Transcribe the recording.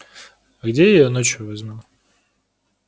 а где я её ночью возьму